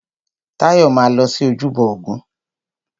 Táyọ̀ máa lọ sí ojúbọ ògún.